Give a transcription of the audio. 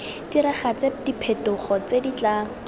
diragatse diphetogo tse di tla